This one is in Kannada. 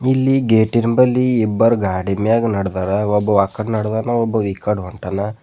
ಇಲ್ಲಿ ಗೇಟಿನ ಬಳಿ ಇಬ್ಬರು ಗಾಡಿ ಮ್ಯಾಗ್ ನಡ್ದಾರ ಒಬ್ಬ ವಾಕಡ್ ನಡ್ದಾನ ಒಬ್ಬ ಈಕಡ್ ಹೊಂಟಾನ.